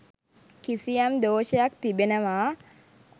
කිසියම් දෝෂයක් තිබෙනවා.